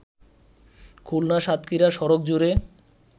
খুলনা-সাতক্ষীরা সড়ক জুড়ে